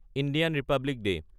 Indian republic day